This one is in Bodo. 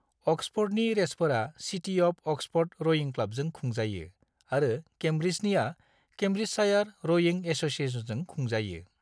अक्सफ'र्डनि रेसफोरा सिटी अफ अक्सफ'र्ड रयिं क्लाबजों खुंजायो आरो केम्ब्रिजनिया केम्ब्रिजशायार रयिं एससिएशनजों खुंजायो।